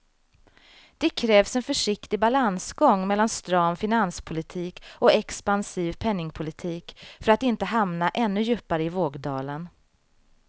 Det krävs en försiktig balansgång mellan stram finanspolitik och expansiv penningpolitik för att inte hamna ännu djupare i vågdalen.